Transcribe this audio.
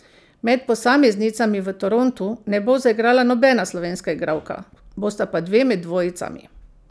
Med posameznicami v Torontu ne bo zaigrala nobena slovenska igralka, bosta pa dve med dvojicami.